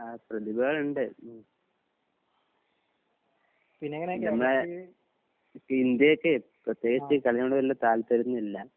ആഹ് പ്രതിഭകളുണ്ട്. നമ്മളെ ഇപ്പൊ ഇന്ത്യ ഒക്കെ പ്രതേകിച്ച് കളിയൊണ്ട് വല്യേ താൽപ്പര്യം ഒന്നും ഇല്ല.